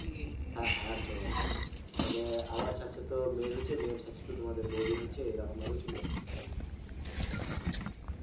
হ্যাঁ হ্যাঁ একদম একদম, মানে আমার ছাড়ছে তো মেয়ের হচ্ছে মেয়ের ছাড়ছে তো তোমাদের বৌদির হচ্ছে, এই রকম ভাবেই চলছে বুঝতে পারলে?